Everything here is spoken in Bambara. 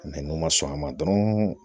n'u man sɔn a ma dɔrɔn